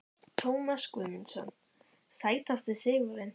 Tómas Guðmundsson Sætasti sigurinn?